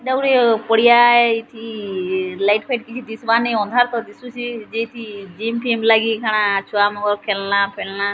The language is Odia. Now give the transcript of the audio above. ଏଟା ଗୁଟେ ପଡିଆ ହେଇଛି ଲାଇଟ ଫାଇଟ କିଛି ଦିଶିବାର ନାଇଁ ଅନ୍ଧାର ପରି ଦିଶୁଚି ଏଇଠି ଜିମ ଫିମ ଲାଗି କେଣା ଛୁଆମାନଙ୍କ ଖେଲନା ଫେଲନା --